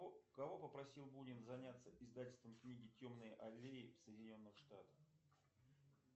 кого попросил бунин заняться издательством книги темные аллеи в соединенных штатах